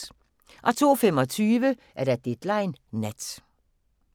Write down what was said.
02:25: Deadline Nat